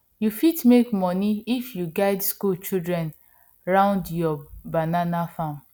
you fit make money if you guide school children round your banana farm